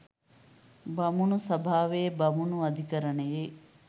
බමුණු සභාවේ බමුණු අධිකරණයේ